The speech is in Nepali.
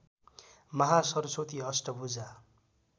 महासरस्वती अष्टभुजा